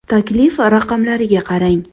Taklif raqamlariga qarang.